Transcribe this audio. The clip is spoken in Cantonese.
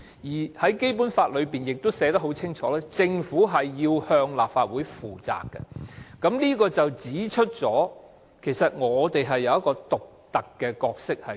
此外，《基本法》亦清楚訂明，政府須向立法會負責，這正好指出立法會扮演一個獨特的角色。